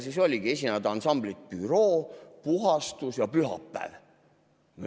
Siis oligi nii, et esinevad ansamblid Büroo, Puhastus ja Pühapäev.